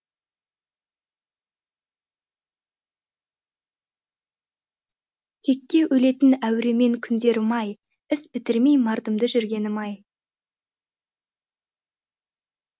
текке өлетін әуремен күндерім ай іс бітірмей мардымды жүргенім ай